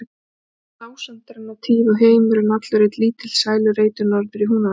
Þetta var dásemdarinnar tíð og heimurinn allur einn lítill sælureitur norður í Húnavatnssýslu.